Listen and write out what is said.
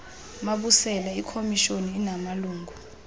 mabusela ikomishoni inamalungu